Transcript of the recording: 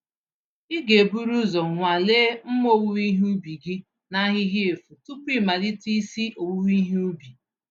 Ịga eburu uzọ nwalee mma owuwe ihe ubi gị n'ahịhịa efu tupu ịmalite isi owuwe ihe ubi.